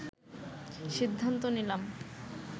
সিদ্ধান্ত নিলাম